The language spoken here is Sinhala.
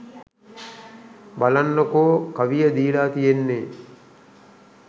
බලන්නකෝ කවිය දීලා තියෙන්නේ